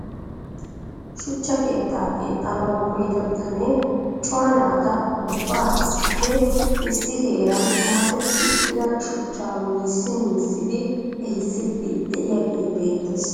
Shuchcha keetta keexxanaw koyyida bitanee cora naata ubba issippe issi heeran masetti uttida shuchcha miyyissi miyyissid ehiissidi de'iyaagee beettes .